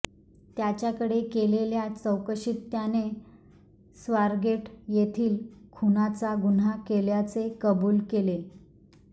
त्याच्याकडे केलेल्या चौकशीत त्याने स्वारगेट येथील खुनाचा गुन्हा केल्याचे कबुल केले